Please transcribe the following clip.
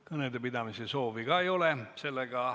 Kõnede pidamise soovi ka ei ole.